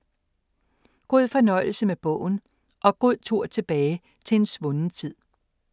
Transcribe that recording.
God fornøjelse med bogen og god tur tilbage til en svunden tid.